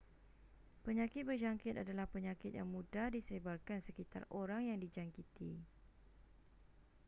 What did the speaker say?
penyakit berjangkit adalah penyakit yang mudah disebarkan sekitar orang yang dijangkiti